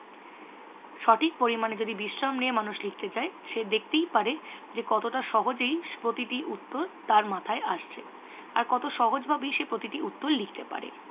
সঠিক পরিমাণে যদি বিশ্রাম নিয়ে মানুষ লিখতে চ্য সে দেখতেই পারে যে কতটা সহজেই প্রতিটি উত্তর তার মাথায় আসছে। আর কত সহজ ভাবেই সে প্রতিটি উত্তর লিখতে পারে।